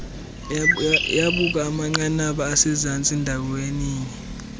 yabakumanqanaba asezantsi ndaweninye